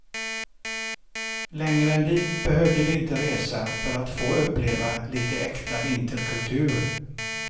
Längre än dit behövde vi inte resa för att få uppleva lite äkta vinterkultur.